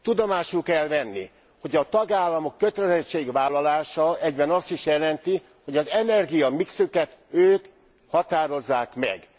Tudomásul kell venni, hogy a tagállamok kötelezettségvállalása egyben azt is jelenti, hogy az energiamixüket ők határozzák meg.